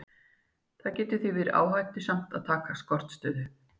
Það getur því verið áhættusamt að taka skortstöðu.